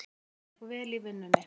Honum gekk vel í vinnunni.